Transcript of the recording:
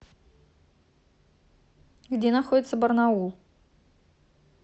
где находится барнаул